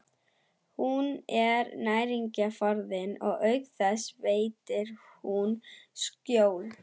Hún er næringarforði og auk þess veitir hún skjól.